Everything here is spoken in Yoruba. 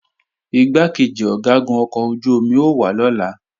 Igbákejì Ọ̀gágun ọkọ̀ ojú-omi ó wá lọ́la